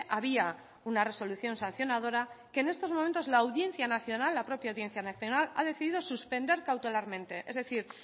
había una resolución sancionadora que en estos momentos la audiencia nacional la propia audiencia nacional ha decidido suspender cautelarmente es decir